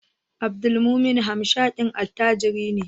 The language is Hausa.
Abdulmumuni hamshakin attajiri ne